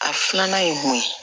A filanan ye mun ye